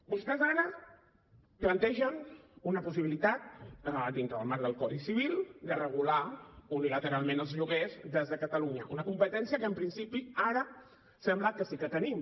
vostès ara plantegen una possibilitat dintre del marc del codi civil de regular unilateralment els lloguers des de catalunya una competència que en principi ara sembla que sí que tenim